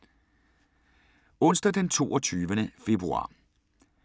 Onsdag d. 22. februar 2017